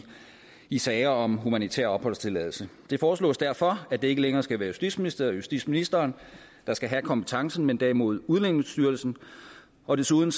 i sager om humanitær opholdstilladelse det foreslås derfor at det ikke længere skal være justitsministeriet og justitsministeren der skal have kompetencen men derimod udlændingestyrelsen og desuden